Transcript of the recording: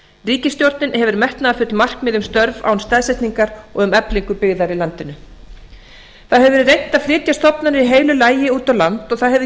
ríkisstjórnin hefur metnaðarfull markmið um störf án staðsetningar og um eflingu byggðar í landinu það hefur verið reynt að flytja stofnanir í heilu lagi út á land og það hefur